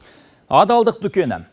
адалдық дүкені